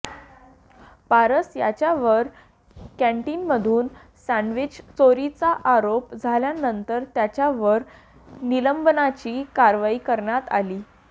पारस याच्यावर कँटीनमधून सँडवीच चोरीचा आरोप झाल्यानंतर त्याच्यावर निलंबनाची कारवाई करण्यात आली